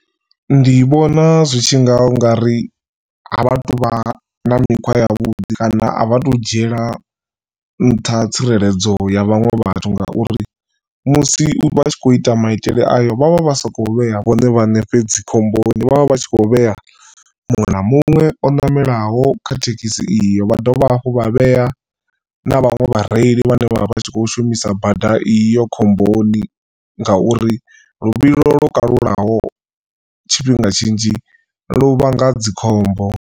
Ndi vhona zwi tshi nga ungari a vha tu vha na mikhwa yavhuḓi kana a vha to dzhiela nṱha tsireledzo ya vhaṅwe vhathu ngauri musi vha tshi kho ita maitele ayo vhavha vha sakho vhea vhone vhaṋe fhedzi khomboni vhavha vhatshi kho vhea muṅwe na muṅwe o ṋamelaho kha thekhisi iyo vha dovha hafhu vha vhea na vhaṅwe vhareili vhane vhavha vhatshi kho shumisa bada iyo khomboni ngauri luvhilo lwo kalulaho tshifhinga tshinzhi lu vhanga dzikhombo.